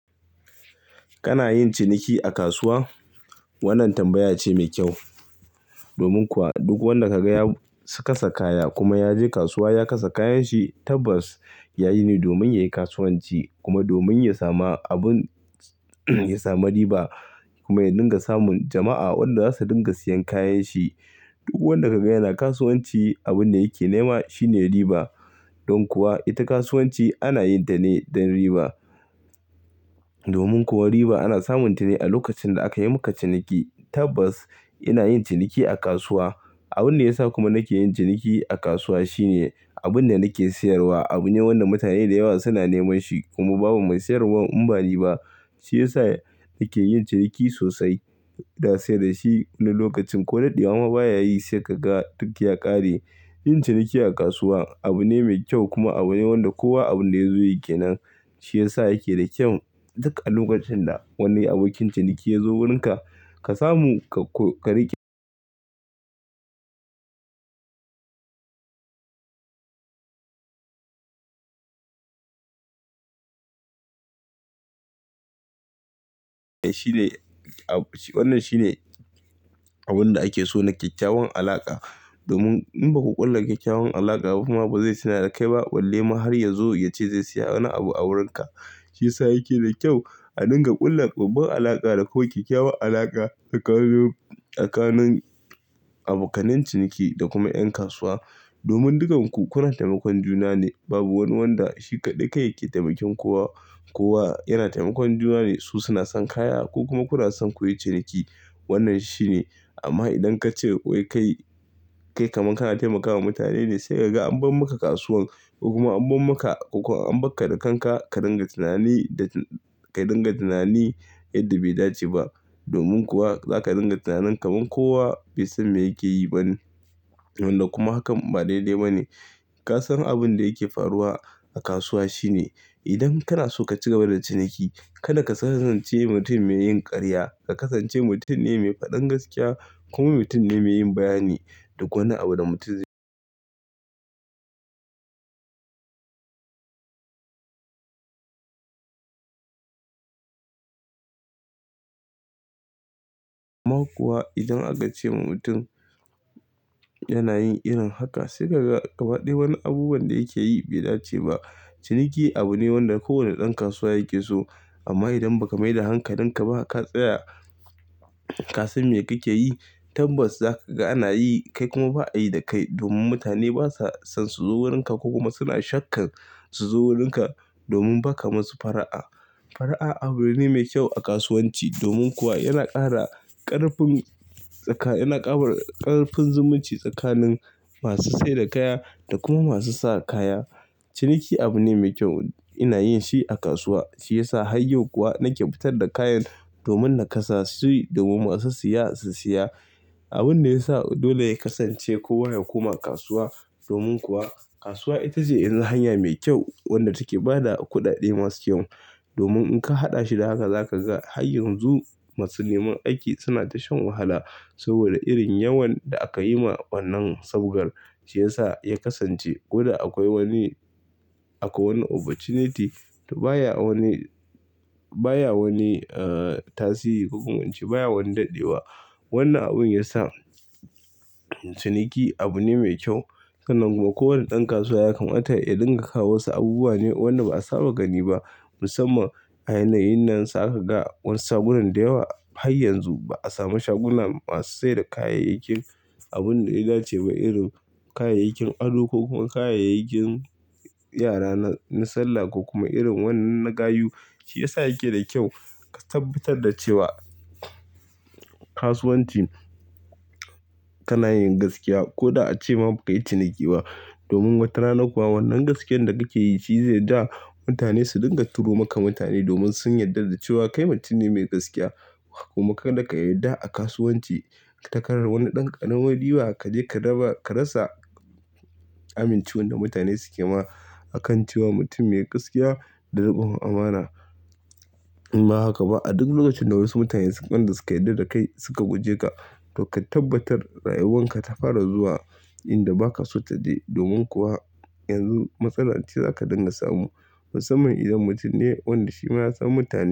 Kana yin ciniki a kasuwa? Wannan tambaya ce mai kyau. Domin kuwa duk wanda ka ga ya kasa kaya kuma ya je kasuwa ya kasa kayan shi tabbas yayi ne domin yayi kasuwanci kuma domin ya samu riba kuma ya dinga samun jama'a wanda za su dinga siyan kayan shi. Duk wanda ka ga yana kasuwanci abun da yake nema shi ne riba. Don kuwa ita kasuwanci ana yin ta ne don riba. Domin kuwa riba ana samun ta ne a lokacin da aka yi maka ciniki. Tabbas ina yin ciniki a kasuwa. Abun da ya sa kuma nake yin ciniki a kasuwa shi ne abun da nake sayarwa abu ne wanda mutane da yawa suna neman shi kuma babu mai sayarwar in ba ni ba shiyasa nake yin ciniki sosai. Da sai da shi na lokacin ko da daɗe wa ma baya yi sai kaga duk ya ƙare. Yin ciniki a kasuwa abu ne mai kyau kuma abu ne wanda kowa abin da ya zo yake nan shi yasa yake da kyau. Duk a lokacin da wani abokin ciniki ya zo wurin ka, ka samu ka riƙe Wannan shi ne abun da ake so na kyakkyawan alaka. Domin in baku ƙulla kyakkyawan alaka ba kuma ba zai sanar da kai ba balle ma har ya zo ya ce zai saya wani abu a wurin ka. Shiyasa yake da kyau a dinga ƙulla babbar alaka da kowa, kyakkyawan alaka tsakanin abokanai ciniki da kuma 'yan kasuwa. Domin dukanku kuna taimakon juna ne, babu wani wanda shi kaɗai yake taimaki kowa. Kowa yana taimakon juna ne. Su suna son kaya ku kuma kuna son ku yi ciniki. Wannan shi ne. Amma idan ka ce wai kai kamar kana taimakawa mutane ne sai kaga an bar maka kasuwan kuma an bar ka da kanka ka dinga tunani yadda bai dace ba. Domin kuwa za ka dinga tunanin kamar kowa bai san me yake yi ba ne. Wanda kuma hakan ba daidai ba ne. Ka san abin da yake faruwa a kasuwa shi ne idan kana so ka ci gaba da ciniki, kada ka kasance mutum mai yin ƙarya. Ka kasance mutum ne mai faɗan gaskiya kuma mutum ne mai yin bayani. Duk wani abu da mutum amma kuwa idan aka ce wa mutum yana yin irin haka sai kaga gaba ɗaya wani abubuwan da yake yi bai dace ba. Ciniki abu ne wanda kowane ɗan kasuwa yake so. Amma idan ba ka maida hankali ka ba ka tsaya ka san me kake yi tabbas za ka ga ana yi kai kuma ba a yi da kai ba. Domin mutane ba sa son su zo wurin ka kuma suna shakkan su zo wurin ka domin ba ka musu fara'a. Fara'a abu ne mai kyau a kasuwanci. Domin kuwa yana ƙara ƙarfin tsaka yana ƙara ƙarfin zumunci tsakanin masu saida kaya da kuma masu sa kaya. Ciniki abu ne mai kyau. Ina yin shi a kasuwa shiyasa har yau kuwa nake fitar da kayan domin na kasa su yi domin masu siya su siya. Abin da ya sa dole ya kasance kowa ya koma kasuwa. Domin kuwa kasuwa ita ce irin hanya mai kyau wadda take ba da kuɗaɗe masu kyau. Domin in ka haɗa shi da haka za ka ga har yanzu masu neman aiki suna ta shan wahala saboda irin yawan da aka yi ma wannan sabgar shi ya sa ya kasance. Ko da akwai wani akwai wani opportunity to baya wani baya wani tasiri ko kuma ince baya wani daɗewa. Wannan abun ya sa ciniki abu ne mai kyau. Sanan kuma kowane ɗan kasuwa ya kamata ya dinga kawo wasu abubuwa ne wanda ba a saba gani ba. Musamman a yanayin nan za ka ga wasu shagunan da yawa har yanzu ba a samu shagunan masu sayar da kayayyakin. Abun da ya dace da irin kayayyakin ado ko kuma kayayyakin yara na salla ko kuma irin wannan na gayu. Shi ya sa yake da kyau ka tabbatar da cewa kasuwanci kana yin gaskiya ko da a ce ma ba ka yi ciniki ba. Domin watarana kuwa wannan gaskiyar da kake yi shi zai ja mutane su dinga turo maka mutane domin sun yarda da cewa kai mutum ne mai gaskiya kuma kada ka yarda a kasuwanci ka karar wani ɗan ƙanano riba ka je ka raba ka rasa amin cewan da mutane suke ma a kan cewa mutum mai gaskiya da riƙon amana. In ba haka ba a duk lokacin da wasu mutane suka yarda da kai suka guje ka to ka tabbatar rayuwan ka ta fara zuwa inda ba ka so ta je. Domin kuwa yanzu matsala ce za ka dinga samu. Musamman idan mutum ne wanda shi ma ya san mutane.